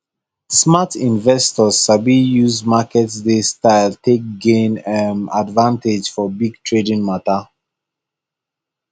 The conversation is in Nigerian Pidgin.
smart investors sabi use market day style take gain um advantage for big trading matter